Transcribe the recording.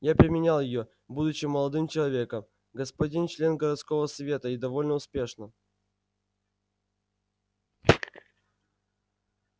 я применял её будучи молодым человеком господин член городского совета и довольно успешно